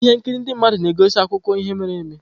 Ihe nkiri ndị mmadụ na-egosi akụkọ ihe mere eme.